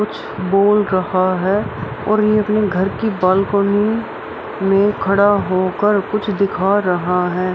कुछ बोल रहा है और ये घर की बालकोनी में खड़ा हो कर कुछ दिखा रहा है।